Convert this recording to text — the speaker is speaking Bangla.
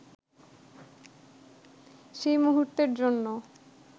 সেই মূহুর্তের জন্য